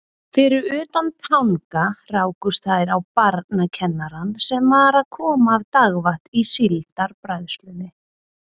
Fyrir utan Tanga rákust þær á barnakennarann sem var að koma af dagvakt í Síldarbræðslunni.